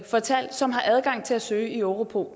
fortalt som har adgang til at søge i europol